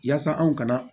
Yaasa anw ka na